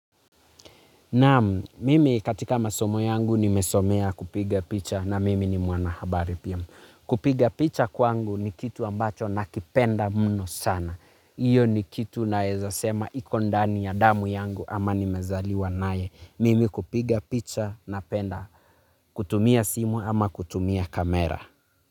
Namu, mimi katika masomo yangu nimesomea kupiga picha na mimi ni mwana habari pia. Kupiga picha kwangu ni kitu ambacho na kipenda muno sana. Iyo ni kitu naezasema ikondani ya damu yangu ama nimezaliwa nae. Mimi kupiga picha na penda kutumia simu ama kutumia kamera.